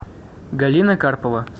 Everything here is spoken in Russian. галина карпова